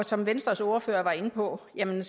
som venstres ordfører var inde på er det